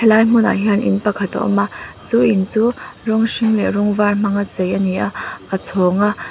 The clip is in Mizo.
helai hmunah hian in pakhat a awm a chu in chu rawng hring leh rawng var hmanga chei a ni a a chhawng a.